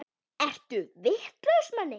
Ertu vitlaus Manni!